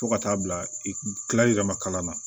Fo ka taa bila i tilali yɛrɛ ma kalan na